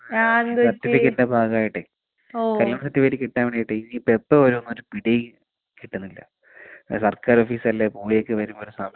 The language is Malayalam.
സർട്ടിഫിക്കറ്റിന്റെ ഭാഗമായിട്ടേ. *നോട്ട്‌ ക്ലിയർ* കിട്ടാൻ വേണ്ടീട്ടെ ഇനി ഇപ്പൊ എപ്പൊ വരുമെന്ന് ഒരു പിടിയും കിട്ടത്തില്ല. പിന്നെ സർക്കാർ ഓഫിസല്ലേ *നോട്ട്‌ ക്ലിയർ* വരുന്ന വരെ സമയം എടുക്കും.